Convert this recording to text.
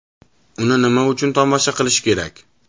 Uni nima uchun tomosha qilish kerak?